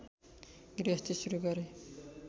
गृहस्थी सुरु गरे